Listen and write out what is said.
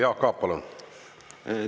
Jaak Aab, palun!